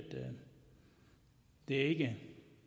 det ikke